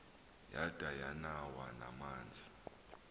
yada yanawo namanzi